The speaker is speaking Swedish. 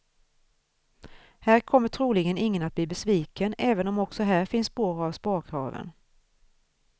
Här kommer troligen ingen att bli besviken, även om också här finns spår av sparkraven.